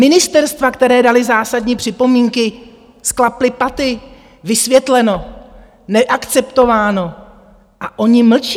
Ministerstva, která dala zásadní připomínky, sklapla paty, vysvětleno, neakceptováno a oni mlčí?